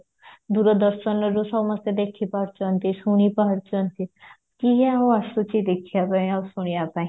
ଦୂରଦର୍ଶନରୁ ସମସ୍ତେ ଦେଖିପାରୁଚନ୍ତି ଶୁଣିପାରୁଚନ୍ତି କିଏ ଆଉ ଆସୁଚି ଦେଖିବା ପାଇଁ ଆଉ ଶୁଣିବା ପାଇଁ